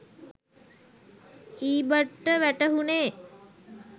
ඊබට්ට වැටහුණේ